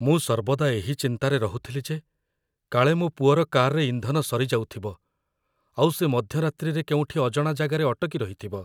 ମୁଁ ସର୍ବଦା ଏହି ଚିନ୍ତାରେ ରହୁଥିଲି ଯେ କାଳେ ମୋ ପୁଅର କାର୍‌ରେ ଇନ୍ଧନ ସରିଯାଉଥିବ, ଆଉ ସେ ମଧ୍ୟରାତ୍ରିରେ କେଉଁଠି ଅଜଣା ଜାଗାରେ ଅଟକି ରହିଥିବ!